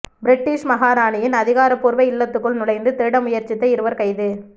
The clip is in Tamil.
பிரிட்டிஷ் மகாராணியின் அதிகாரபூர்வ இல்லத்துக்குள் நுழைந்து திருட முயற்சித்த இருவர் கைது